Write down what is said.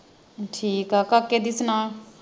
ਠੀਕ ਆ ਕਾਕੇ ਦੀ ਸੁਣਾ